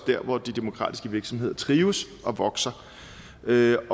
hvor de demokratiske virksomheder trives og vokser ved